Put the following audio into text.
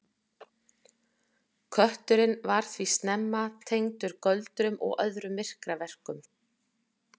Kötturinn var því snemma tengdur göldrum og öðrum myrkraverkum.